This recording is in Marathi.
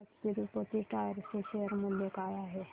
आज तिरूपती टायर्स चे शेअर मूल्य काय आहे